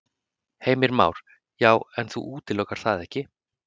Heimir Már: Já, en þú útilokar það ekki?